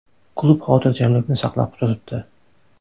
Klub xotirjamlikni saqlab turibdi.